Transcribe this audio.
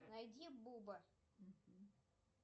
найди буба